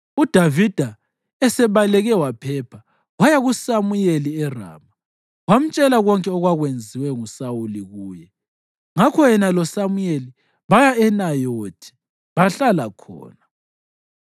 UDavida esebaleke waphepha, waya kuSamuyeli eRama wamtshela konke okwakwenziwe nguSawuli kuye. Ngakho yena loSamuyeli baya eNayothi bahlala khona.